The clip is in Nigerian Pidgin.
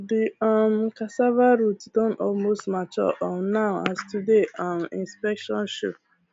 the um cassava roots don almost mature um now as todays um inspection show